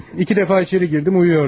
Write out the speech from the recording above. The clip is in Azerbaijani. İki dəfə içəri girdim, yatırdın.